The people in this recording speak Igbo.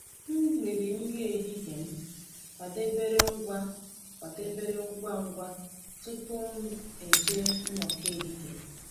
M riri nri ehihie m kwadebere ngwa kwadebere ngwa ngwa tupu m eje nnọkọ ehihie.